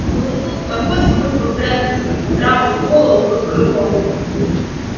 смысл какой смысл прятать как страус голову под крыло